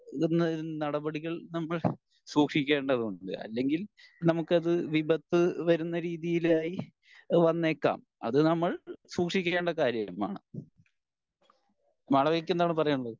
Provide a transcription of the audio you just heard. നടപടികൾ നമ്മൾ സൂക്ഷിക്കേണ്ടതുണ്ട് അല്ലെങ്കിൽ നമുക്കത് വിപത്ത് വരുന്ന രീതിയിലായി വന്നേക്കാം അത് നമ്മൾ സൂക്ഷിക്കേണ്ട കാര്യമാണ്. മാളവികക്ക് എന്താണ് പറയാൻ ഉള്ളത്